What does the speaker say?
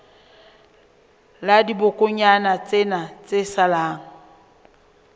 la dibokonyana tsena tse salang